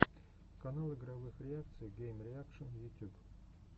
канал игровых реакций геймреакшн ютюб